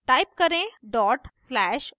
type करें dot slash over